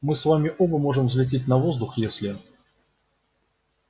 мы с вами оба можем взлететь на воздух если